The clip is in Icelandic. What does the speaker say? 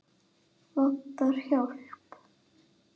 Vantar hjálp.